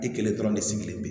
I kelen dɔrɔn de sigilen bɛ